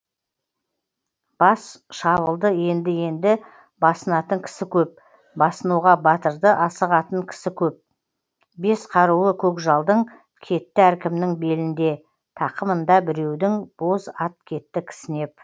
бас шабылды енді енді басынатын кісі көп басынуға батырды асығатын кісі көп бес қаруы көкжалдың кетті әркімнің белінде тақымында біреудің боз ат кетті кісінеп